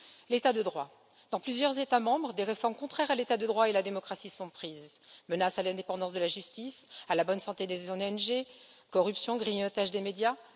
L'état de droit dans plusieurs États membres, des réformes contraires à l'état de droit et à la démocratie sont prises menaces sur l'indépendance de la justice, la bonne santé des ONG, corruption, grignotage des médias.